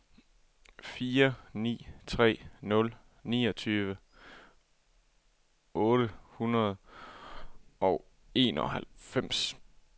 fire ni tre nul niogtyve otte hundrede og enoghalvfems